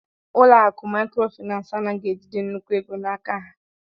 Ụlọ akụ maịkrofịnansị anaghị ejide nnukwu ego n'aka ha